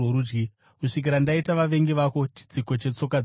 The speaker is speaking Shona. kusvikira ndaita vavengi vako chitsiko chetsoka dzako.’